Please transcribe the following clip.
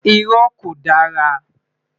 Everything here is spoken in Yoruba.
Irọ́ ko dara